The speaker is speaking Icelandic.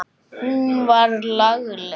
Hún var lagleg.